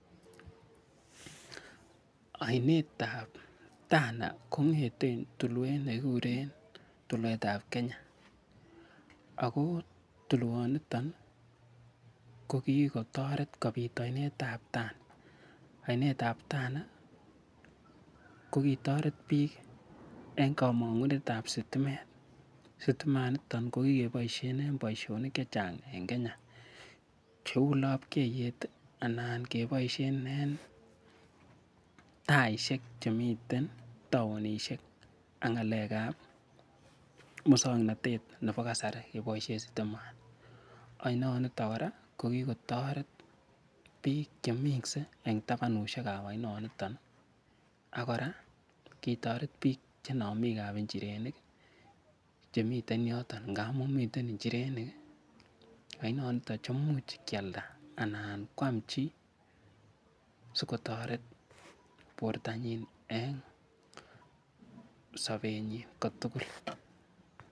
Ainet ap Tana kong'eten tulwet ne kikure Tulwet ap Kenya. Ako tuwaniton ko kikotaret kopit ainet ap Tana. Ainet ap Tana, ko kikotaret piik eng' kamang'unet ap sitimet. Sitimanitok ko kikepaishen en poishonik che chang' eng' Kenya kou lapkeyet anan kepaishen en taishek che miten taonishek ak ng'alek ap muswoknotet nepo kasari kepaishe sitimanj. Ainaniton kora ko kikotaret piik che minse eng' tapanut ap ainaniton. Ako kora kitaret piik che namik ap njirenik che miten yoton ngamu miten njirenik en ainaniton che imuch kealda anan koam chi si kotaret portonyin en sapenyin ko tugul.